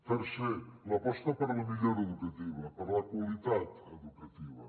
tercera l’aposta per la millora educativa per la qualitat educativa